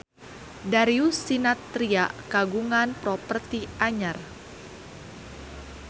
Darius Sinathrya kagungan properti anyar